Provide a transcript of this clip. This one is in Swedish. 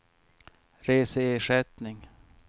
reseersättning